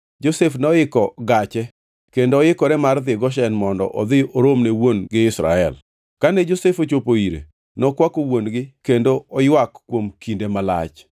Josef noiko gache kendo oikore mar dhi Goshen mondo odhi oromne wuon-gi Israel. Kane Josef ochopo ire, nokwako wuon-gi kendo oywak kuom kinde malach.